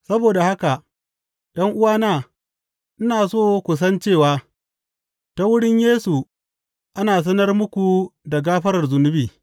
Saboda haka, ’yan’uwana, ina so ku san cewa ta wurin Yesu ana sanar muku da gafarar zunubi.